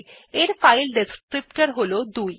এর file descriptor হল ২